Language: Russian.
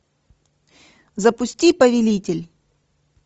запусти повелитель